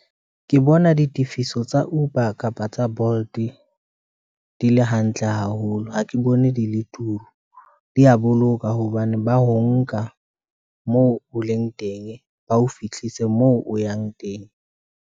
Ke bona ditifiso tsa Uber, kapa tsa Bolt di le hantle haholo, ha ke bone di le turu. Di a boloka hobane ba ho nka, moo o leng teng, ba o fihlise moo o yang teng.